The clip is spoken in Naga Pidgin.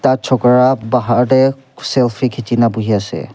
Chokara bahar dae selfie kechena buhui ase.